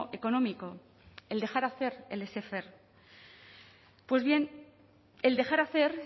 económico el dejar hacer el laisser faire pues bien el dejar hacer